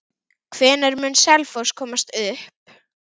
Hvenær mun Selfoss komast upp?